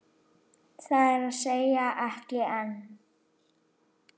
Það er að segja, ekki enn.